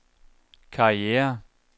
karriere